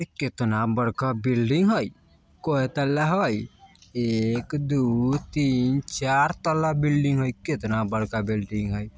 केतना बड़का बिल्डिंग हय कोय तल्ला हय एक दू तीन चार तल्ला बिल्डिंग हय केतना बड़का बिल्डिंग हय।